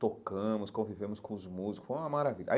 Tocamos, convivemos com os músicos, foi uma maravilha aí.